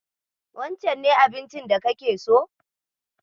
Wancen ne abincin da kake so?